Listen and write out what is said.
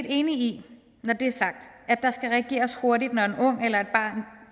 enig i når det er sagt at der skal reageres hurtigt når en ung eller